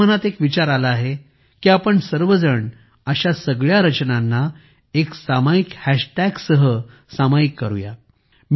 माझ्या मनात एक विचार आला आहे की आपण सर्वजण अशा सगळ्या रचनांना एका सामायिक हॅश टॅगसह सामायिक करूया